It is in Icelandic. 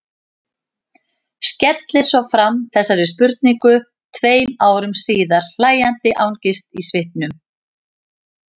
Skellir svo fram þessari spurningu tveim árum síðar, hlæjandi angist í svipnum.